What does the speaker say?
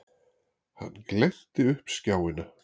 Hann glennti upp skjáina.